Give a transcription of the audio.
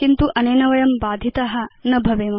किन्तु अनेन वयं बाधिता न भवेम